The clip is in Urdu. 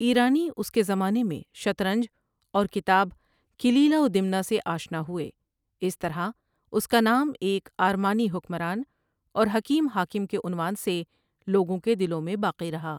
ایرانی اس کے زمانے میں شطرنج اور کتاب کلیلہ ودمنہ سے آشنا ہوئے اس طرح اس کا نام ایک آرمانی حکمران اور حکیم حاکم کے عنوان سے لوگوں کے دلوں میں باقی رہا۔